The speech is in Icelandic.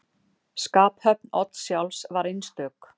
Skaphöfn Odds sjálfs var einstök.